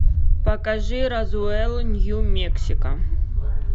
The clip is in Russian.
покажи розуэлл нью мексико